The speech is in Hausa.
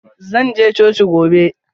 Zan je coci gobe.